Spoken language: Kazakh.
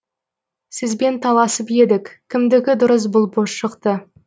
сізбен таласып едік кімдікі дұрыс болып шықты